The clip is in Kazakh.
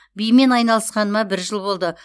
бимен айналысқаныма бір жыл болды